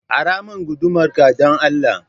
Ara min gudumar ka dan Allah